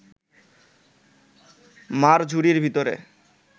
মা’র ঝুড়ির ভিতরে